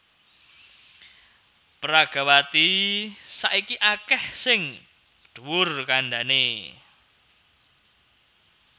Peragawati saiki akèh sing dhuwur kandhané